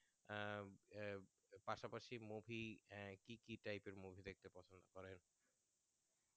আ পাশাপাশি movie কি কি type এর movie দেখতে পছন্দ করিম